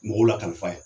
Mɔgɔw lakali fa ye